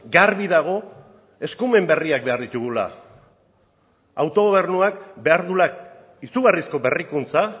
garbi dago eskumen berriak behar ditugula autogobernuak behar duela izugarrizko berrikuntza